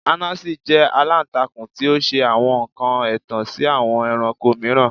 Anansi jẹ alantakun ti o ṣe awọn nkan ẹtan si awọn ẹranko miiran